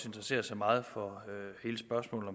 interesserer sig meget for hele spørgsmålet